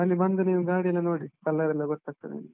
ಅಲ್ಲಿ ಬಂದು ನೀವು ಗಾಡಿ ಎಲ್ಲಾ ನೋಡಿ, color ಎಲ್ಲಾ ಗೊತ್ತಾಗ್ತದೆ ನಿಮ್ಗೆ.